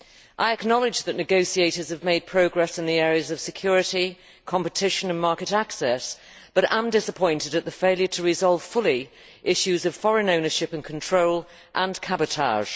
I acknowledge that negotiators have made progress in the areas of security, competition and market access, but I am disappointed at the failure to resolve fully issues of foreign ownership and control and cabotage.